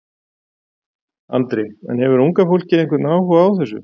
Andri: En hefur unga fólkið einhvern áhuga á þessu?